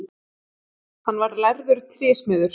Hann var lærður trésmiður.